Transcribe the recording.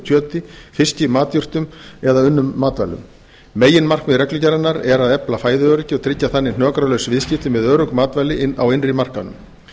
kjöti fiski matjurtum eða unnum matvælum meginmarkmið reglugerðarinnar er að efla fæðuöryggi og tryggja þannig hnökralaus viðskipti með örugg matvæli á innri markaðinum